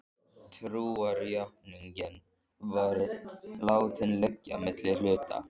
Trúarjátningin var látin liggja milli hluta.